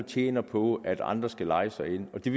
tjener på at andre skal leje sig ind og det